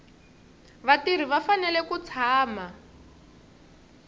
vatirhi va fanele ku tshama